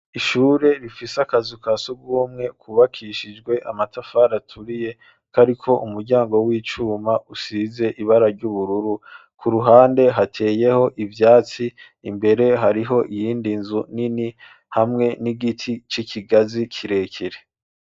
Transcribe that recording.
Ishure rifise akazu ka surwumwe kubakishijwe amatafari aturiye kariko umuryango w'icuma usize ibara ry'ubururu ku ruhande hateyeho ivyatsi, imbere hariho iyindi nzu nini hamwe n'igiti c'ikigazi kirekere.